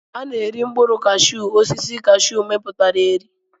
Ana eri mkpụrụ kashu osisi kashu miputa eri.